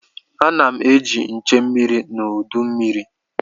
A na m eji nche mmiri n'udu mmiri.